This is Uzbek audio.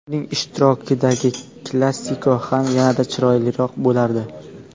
Uning ishtirokidagi Klasiko ham yana-da chiroyliroq bo‘lardi.